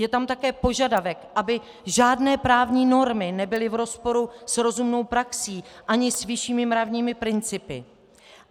Je tam také požadavek, aby žádné právní normy nebyly v rozporu s rozumnou praxí ani s vyššími mravními principy.